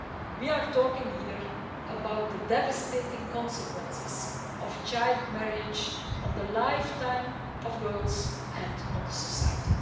We are talking here about the devastating consequences of child marriage on the lifetime of girls and on society.